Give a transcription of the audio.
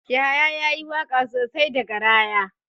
Yahaya yayi waka sosai da garaya.